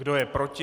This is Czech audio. Kdo je proti?